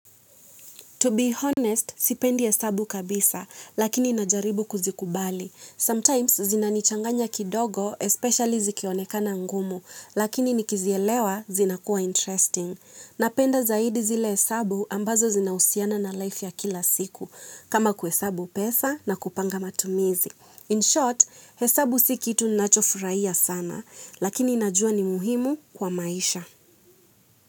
To be honest, sipendi hesabu kabisa, lakini najaribu kuzikubali. Sometimes, zinanichanganya kidogo, especially zikionekana ngumu, lakini nikizielewa, zinakuwa interesting. Napenda zaidi zile hesabu ambazo zinahusiana na life ya kila siku, kama kuhesabu pesa na kupanga matumizi. In short, hesabu si kitu ninachofurahia sana, lakini najua ni muhimu kwa maisha.